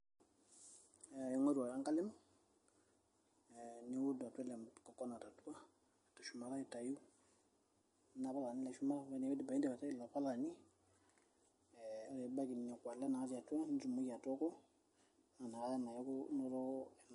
aing'oru ake enkalem niud atua ele coconut atua teshumata aitau ena palani naa eshumata ore piindip aitayu ilo palani ee ore piibaiki nekua ale natii atua nitumoki atooko naa inakata naa iaku inotoko ena.